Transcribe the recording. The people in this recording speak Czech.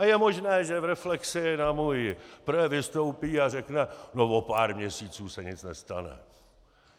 A je možné, že v reflexi na můj projev vystoupí a řekne: No o pár měsíců se nic nestane.